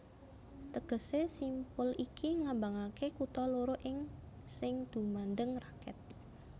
Tegesé simpul iki nglambangaké kutha loro iki sing gumandhèng raket